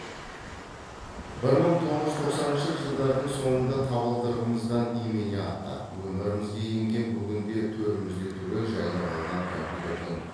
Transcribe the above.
бір мың тоғыз жүз тоқсаныншы жылдардың соңында табалдырығымыздан имене аттап өмірімізге енген бүгінде төрімізді түгел жайлап алған компьютердің